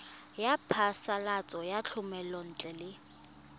ya phasalatso ya thomelontle le